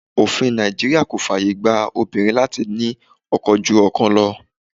Òfin Nàìjíríà kò fàyè gba obìnrin láti ní ọkọ ju ọkan lọ.